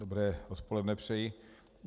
Dobré odpoledne přeji.